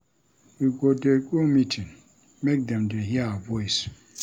We go dey go meeting make dem dey hear our voice.